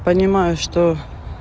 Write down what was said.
понимаю что